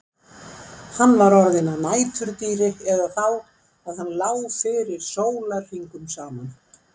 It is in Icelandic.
Hann var orðinn að næturdýri eða þá að hann lá fyrir sólarhringum saman.